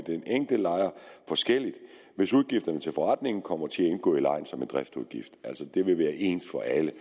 den enkelte lejer forskelligt hvis udgifterne til forrentningen kommer til at indgå i lejen som en driftsudgift altså det vil være ens for alle